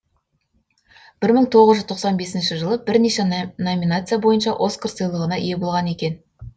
бір мың тоғыз жүз тоқсан бесінші бірнеше номинация бойынша оскар сыйлығына ие болған екен